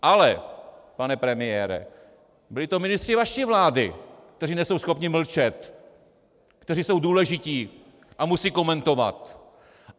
Ale pane premiére, byli to ministři vaší vlády, kteří nejsou schopni mlčet, kteří jsou důležití a musí komentovat.